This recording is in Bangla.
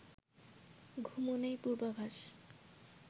ঘুমনেই পূর্বাভাস